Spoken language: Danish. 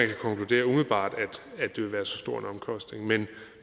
kan konkludere umiddelbart at det vil være så stor en omkostning men